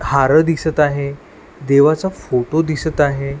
हार दिसत आहे देवाचा फोटो दिसत आहे.